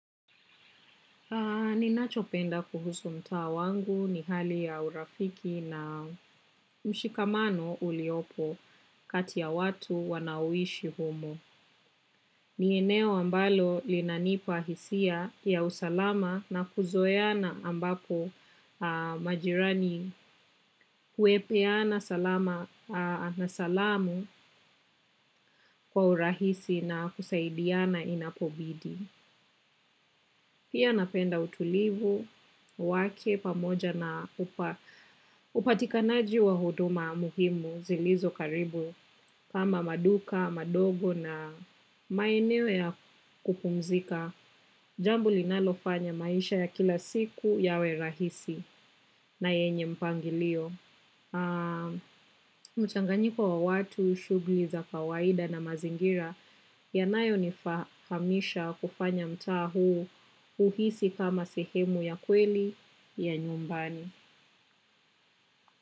Ninachopenda kuhusu mtaa wangu ni hali ya urafiki na mshikamano uliopo kati ya watu wanaoishi humo. Ni eneo ambalo linanipa hisia ya usalama na kuzoeana ambapo majirani huepeana salama na salamu kwa urahisi na kusaidiana inapobidi. Pia napenda utulivu, wake pamoja na upatikanaji wa huduma muhimu zilizo karibu kama maduka, madogo na maeneo ya kupumzika. Jambo linalofanya maisha ya kila siku yawe rahisi na yenye mpangilio. Mchanganyiko wa watu shughuli za kawaida na mazingira yanayonihamisha kufanya mtaa huu uhisi kama sehemu ya kweli ya nyumbani.